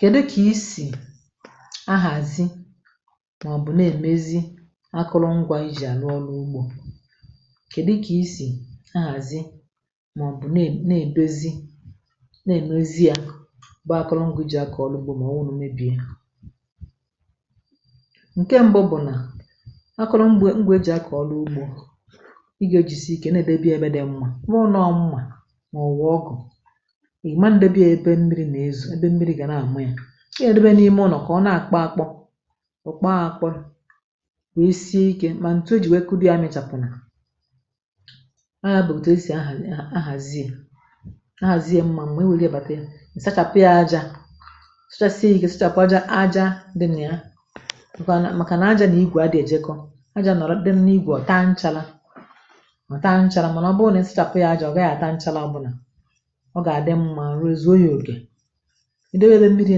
Kèdu kà isì ahàzi màọ̀bụ̀ nà-èmezi akụrụngwȧ i jì àrụ ọlụ ugbȯ, kèdu kà isì ahàzi màọ̀bụ̀ nà nà-èdozi nà-ènozi à bụ akụrụngwȧ i jì àkọ̀ ọlụ ụgbụ mà ọ̀wụ̀ na ọ mebìe, nke mbụ bụ̀ nà akụrụngwė ngwė jì àkọ̀ ọlụ ugbȯ ị gȧ e jìsì ike nà-èdebe ébé dị mmȧ ọ bụrụ nọọ mmȧ màọ̀bụ̀ ọgo ị̀ma ndebe yȧ ebe mmiri̇ nà-ezù ebe mmiri gà na-àma yȧ ihe debe n’ime ụnọ̀ kà ọ nà-àkpọ àkpọ ụ̀kpọ àkpọ nwèe sie ikė mà ntụ e jì nwèe kụde a mịechàpụ̀ na. Ọ yà bụ̀ òtù e sì ahà a hazìe ahà ziè mmȧ mma e wère bàtà ị̀ sachàpụ yȧ ajȧ sụchasịa ya ike sachàpụ ajȧ ajȧ dị nà ya maka nà màkànà ajȧ nà igwè a dị èjekọ̇ ajȧ nọ̀rọ̀ dị nà igwè ọ̀ taa nchàla mà taa nchàla, màna ọ̀ bụ nà ọ bụrụ nà ị sị chàpụ yȧ ajȧ ọ̀ gàghị àta nchàla obụna, ọ gà-àdị mmȧ arù e zùo yȧ òkè idėbe ebe mmiri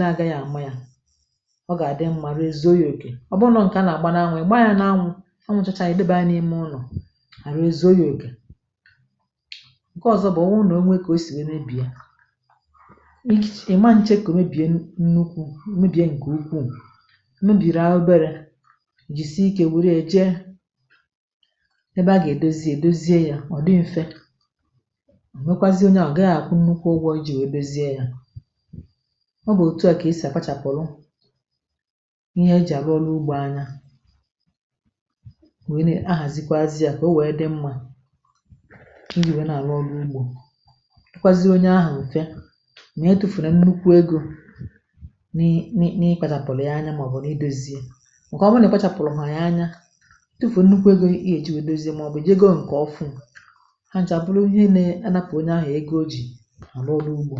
nȧ-àgaghị̇ àma yȧ ọ gà-àdị mmȧ aru e zùo yȧ òkè, ọ bụrụ nọ ǹkè a nà-àgba n’anwụ̇ ị̀ gba yȧ n’anwụ̇ anwụ̇chacha ànyị ị debaa ya n’ime ụlọ̀ àrụ ezu o yȧ òkè. Ǹke ọ̀zọ bụ̀ ọ wụrụ nà o nwe kà o sì wee rebìe ịchịche ị̀ ma ǹche ka ọ̀ ree bìe nnukwu̇ mé bìe ǹkè ukwuu m̀mebìrì a oberė jìsi ikė wère jee ebe a gà-èdozi èdoziė yȧ ọ̀ dị mfe ọ mekwazie onye ahụ ọ gaghị akwu nnukwu ụgwọ̇ iji wẹdowezie yȧ. Ọ bụ̀ òtù à kà esì àkpachàpụ̀lụ ihe e jì àrụ ọlụ ugbȯ anya nwèe na-ahàzikwa azị yȧ kà ọ wẹ dị mmȧ iji̇ wẹ nà àrụ ọlụ ugbȯ dịkwazị onye ahụ̀ m̀fe mà etùfunà nnukwu egȯ nị nị nị nị ị kpachàpụ̀lụ̀ ya anya màọbụ̀ n’idȯzie màkà ọ bụ nà ị kpachàpụ̀lụ̀ yà anya tufù nnukwu egȯ ihe e ji wẹ̀dowezie màọbụ̀ jé go ǹkè ọfụ hà ǹchà abụrụ ihe nà anapụ̀ onye ahụ̀ egȯ ọ jì àrụ ọrụ ụgbọ,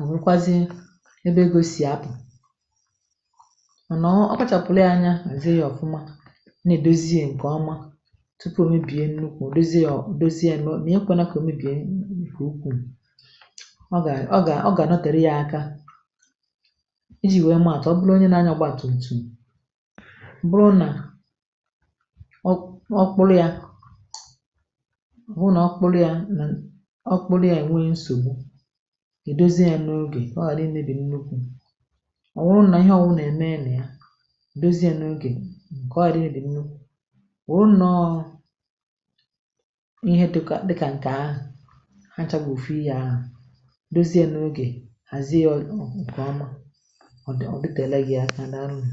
òmekwazie ebe egosì apụ̀ mànà ọ kpachàpụ̀rụ̀ ya anya hàzie ya ọ̀fụma na-edozi ǹkè ọma tupu o mebie nnukwù, o dozie ya ọ̀ dozi ya mà ya ekwė nà kà o mebìe nkè ukwù ọ gà a ọ gà ọ gà nọtèrè ya aka, iji̇ wee mȧàtụ ọ bụrụ onye na-anyȧ ọgba tụm tụm bụrụ nà ọ ọ kpụlụ ya bụrụ nà ọ kpụrụ yȧ na ọ kpụrụ ya ẹ̀ nwe nsògbu i dozie ya n’ogè ka ọ ghàrị imebi nnukwu,̇ ọ wụrụ nà ihe ọ wụ nà-ẹ̀mẹnẹ yȧ dozie ya n’ogè ka ọ gharị imebi nnukwu̇ ọ wụrụ ǹnọọ̇ ihe dịkȧ dịkȧ nke ahụ̀ hacha bú ùfụ ihė ahụ̀ dozie n’ogè hàzie ya ọ ǹkẹ̀ òmà ọ̀ dị̀ ọ̀ dịtẹ̀ela gị aka dàalụnu.